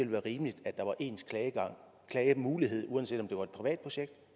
være rimeligt at der var ens klagemulighed uanset om det var et privat projekt